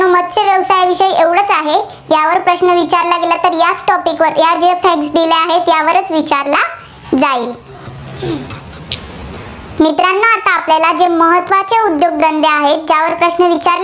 महत्त्वाचं आहे. यावर प्रश्न विचारला गेला तर या topic वर यावरच विचारला जाईल. मित्रांनो आता आपल्याला जे महत्त्वाचे उद्योगधंदे आहेत, त्यावर प्रश्न विचारले